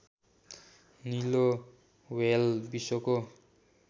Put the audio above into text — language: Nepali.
निलो व्हेल विश्वको